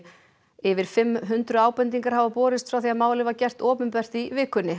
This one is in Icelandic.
yfir fimm hundruð ábendingar hafa borist frá því að málið var gert opinbert í vikunni